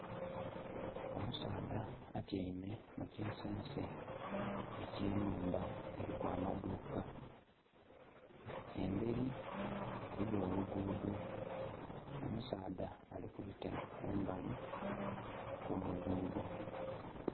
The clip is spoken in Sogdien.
Omusaadha atyaime mu kinsense eky'ennhumba eriku amaduuka, emberi eriyo oluguudo. Omusaadha ali kubita kumbali okw'oluguudo.